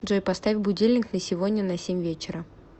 джой поставь будильник на сегодня на семь вечера